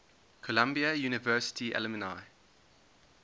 columbia university alumni